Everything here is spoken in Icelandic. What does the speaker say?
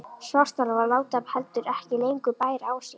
Svartálfar láta heldur ekki lengur bæra á sér.